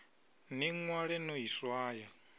ḽi ṅwale no ḽi swaya